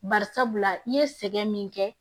Bari sabula i ye sɛgɛn min kɛ